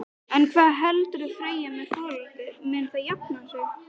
En hvað heldur Freyja með folaldið, mun það jafna sig?